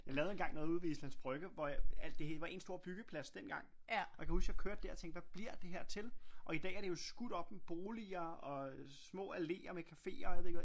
Jeg lavede engang noget ude ved Islands Brygge hvor alt det hele var en stor byggeplads dengang og jeg kan huske jeg kørte der og tænkte hvad bliver det her til og i dag er det jo skudt op med boliger og små alléer med caféer og jeg ved ikke hvad